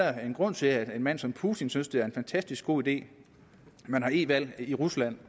er en grund til at en mand som putin synes at det er en fantastisk god idé at man har e valg i rusland